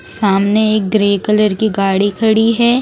सामने एक grey colour की गाड़ी खड़ी है।